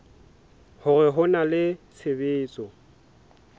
hore ho na le tshebetso